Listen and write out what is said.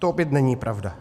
- To opět není pravda.